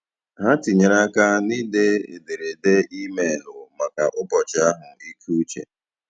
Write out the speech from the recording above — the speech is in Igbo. Ha tinyere aka na - ide ederede emailu maka ụbọchị ahụ ike uche.